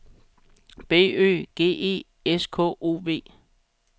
B Ø G E S K O V